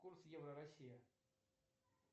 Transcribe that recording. курс евро россия